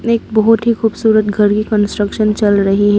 एक बहुत ही खूबसूरत घर की कंस्ट्रक्शन चल रही है।